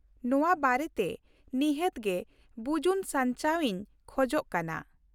ᱱᱚᱶᱟ ᱵᱟᱨᱮᱛᱮ ᱱᱤᱦᱟᱹᱛ ᱜᱮ ᱵᱩᱡᱩᱱ ᱥᱟᱧᱪᱟᱣ ᱤᱧ ᱠᱷᱚᱡ ᱠᱟᱱᱟ ᱾